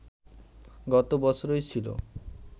গত বছরই ছিল